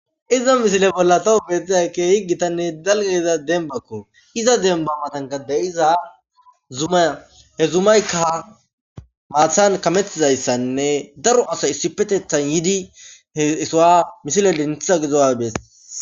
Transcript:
iza misile bolla taw beetiyay keehi gitanne dalgga gidiya dembakko iza demba matanka de'iza zuma he zumayka haathan kametidayssanne daro asay issipetethan yiidi he sohuwa misilen denthiya gizuwa besees.